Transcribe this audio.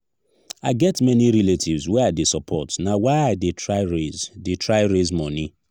i get many relatives wey i dey support na why i dey try raise dey try raise moni.